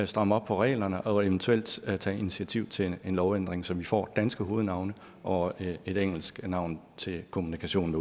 stramme op på reglerne og eventuelt tage tage initiativ til en lovændring så vi får danske hovednavne og et engelsk navn til kommunikationen